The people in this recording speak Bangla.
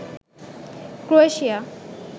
ক্রোয়েশিয়া